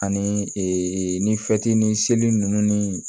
Ani ni seli ninnu ni